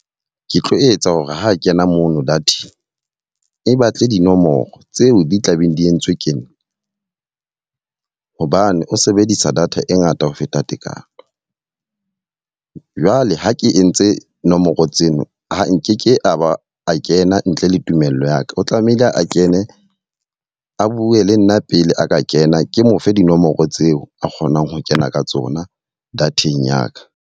Ke tlo etsa hore ho kena mono data-ng e batle dinomoro tseo di tla beng di entswe ke nna. Hobane o sebedisa data e ngata ho feta tekano. Jwale ha ke entse nomoro tseno, ha nkeke a ba a kena ntle le tumello ya ka. O tlamehile a kene, a bue le nna pele a ka kena. Ke mo fe dinomoro tseo a kgonang ho kena ka tsona data-eng ya ka.